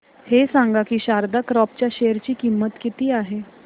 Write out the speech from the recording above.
हे सांगा की शारदा क्रॉप च्या शेअर ची किंमत किती आहे